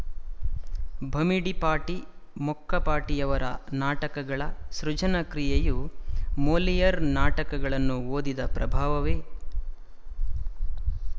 ಭಮಿಡಿಪಾಟಿ ಮೊಕ್ಕಪಾಟಿಯವರ ನಾಟಕಗಳ ಸೃಜನ ಕ್ರಿಯೆಯು ಮೊಲಿಯರ್ ನಾಟಕಗಳನ್ನು ಓದಿದ ಪ್ರಭಾವವೇ